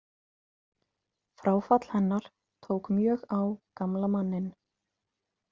Fráfall hennar tók mjög á gamla manninn.